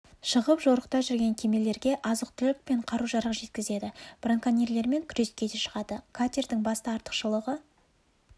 шығып жорықта жүрген кемелерге азық-түлік пен қару-жарақ жеткізеді браконьерлермен күреске де шығады катердің басты артықшылығы